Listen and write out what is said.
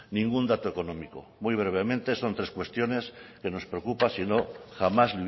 ningún dato económico muy brevemente son tres cuestiones que nos preocupa si no jamás